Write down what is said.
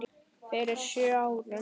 Fyrir sjö árum.